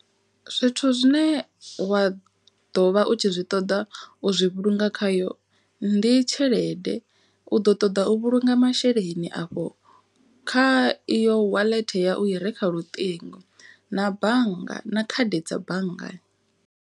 Zwithu zwine wa ḓo vha u tshi zwi ṱoḓa u zwi vhulunga khayo. Ndi tshelede u ḓo ṱoḓa u vhulunga masheleni afho kha iyo wallet ya u i re kha luṱingo. Na bannga na khadi dza banngani.